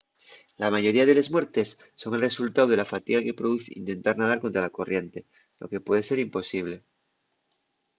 la mayoría de les muertes son el resultáu de la fatiga que produz intentar nadar contra la corriente lo que puede ser imposible